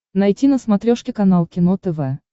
найти на смотрешке канал кино тв